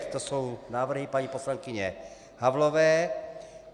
To jsou návrhy paní poslankyně Havlové.